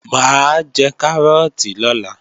Mà á jẹ kárọ́ọ̀tì lọ́la